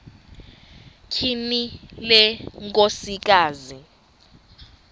tyhini le nkosikazi